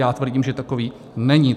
Já tvrdím, že takový není.